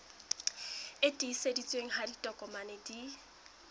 e tiiseditsweng ha ditokomane di